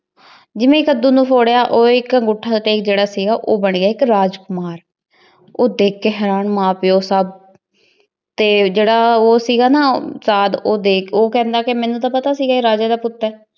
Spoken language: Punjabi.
ਜਿਵੇਂ ਈ ਕਦੋ ਨੂ ਫੋਰਯ ਊ ਏਇਕ ਜੇਰਾ ਸੀਗਾ ਊ ਬਣ ਗਯਾ ਏਇਕ ਰਾਜਕੁਮਾਰ ਊ ਦੇਖ ਕੇ ਹੇਰਾਂ ਮਾਂ ਪਾਯੋ ਸਬ ਜੇਰਾ ਊ ਸੀਗਾ ਨਾ ਊ ਸਾਦ ਊ ਕਹੰਦਾ ਮੇਨੂ ਟੀ ਪਤਾ ਸੀਗਾ ਆਯ ਰਾਜੇ ਦਾ ਪੁਤ ਆਯ